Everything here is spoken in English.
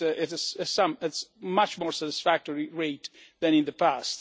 at a much more satisfactory rate than in the past.